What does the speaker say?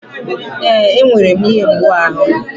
Ee, enwere m ihe mgbu ahụ.